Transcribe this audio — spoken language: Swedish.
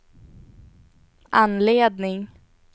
anledning